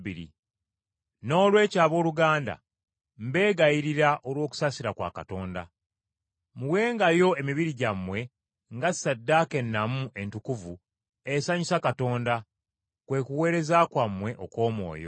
Noolwekyo abooluganda mbeegayirira olw’okusaasira kwa Katonda, muwengayo emibiri gyammwe nga ssaddaaka ennamu entukuvu esanyusa Katonda, kwe kuweereza kwammwe okw’omwoyo.